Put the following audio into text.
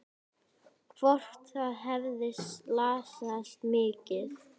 Hvort það hefði slasast mikið.